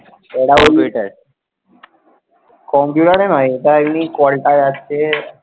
call টায়ে আসতে